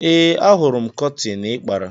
Ee, Ahụrụ m kọtịn ị kpara.